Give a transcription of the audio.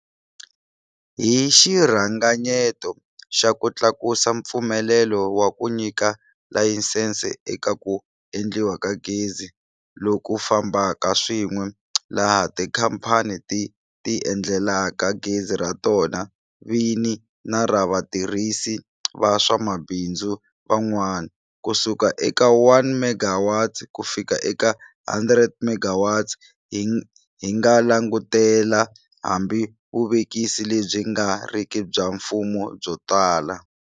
Hi xiringanyeto xa ku tlakusa mpfumelelo wa ku nyika layisense eka ku endliwa ka gezi loku fambaka swin'we - laha tikhamphani ti tiendlelaka gezi ra tona vini na ra vatirhisi va swa mabindzu van'wana - kusuka eka 1MW kufika eka 100MW, hi nga langutela hambi vuvekisi lebyi nga riki bya mfumo byo tala.